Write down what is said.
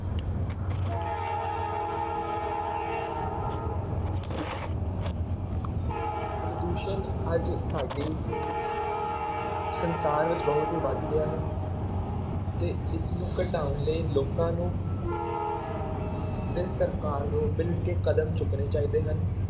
ਪ੍ਰਦੂਸ਼ਣ ਅੱਜ ਸਾਡੇ ਸੰਸਾਰ ਵਿੱਚ ਬਹੁਤ ਹੀ ਵੱਧ ਗਿਆ ਹੈ ਤੇ ਇਸ ਨੂੰ ਘਟਾਉਣ ਲਈ ਲੋਕਾਂ ਨੂੰ ਤੇ ਸਰਕਾਰ ਨੂੰ ਮਿਲਕੇ ਕਦਮ ਚੁੱਕਣੇ ਚਾਹੀਦੇ ਹਨ,